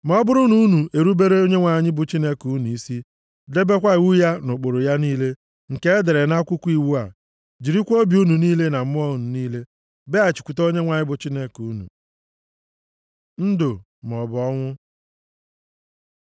Ma ọ bụrụ na unu erubere Onyenwe anyị bụ Chineke unu isi, debekwa iwu ya na ụkpụrụ ya niile nke e dere nʼAkwụkwọ iwu a, jirikwa obi unu niile na mmụọ unu niile bịaghachikwute Onyenwe anyị bụ Chineke unu. Ndụ maọbụ ọnwụ